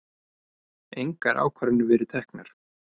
Engar ákvarðanir verið teknar